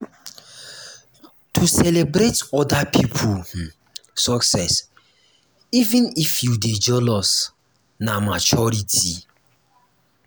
to celebrate oda pipo um success even if you dey jealous na um maturity. um